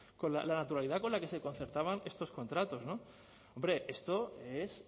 la naturalidad con la que se concertaban estos contratos hombre esto es